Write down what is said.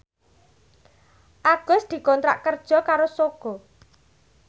Agus dikontrak kerja karo Sogo